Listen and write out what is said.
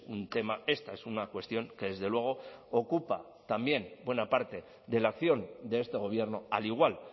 un tema esta es una cuestión que desde luego ocupa también buena parte de la acción de este gobierno al igual